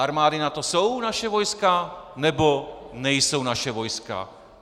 Armády NATO jsou naše vojska, nebo nejsou naše vojska?